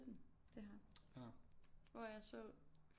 Det ham hvor jeg så